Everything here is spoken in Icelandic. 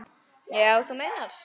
Já, þú meinar.